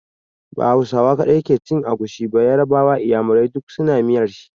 Ba Hausawa kaɗai ke cin agushi ba, yarbawa, inyamurai duk su na miyar shi.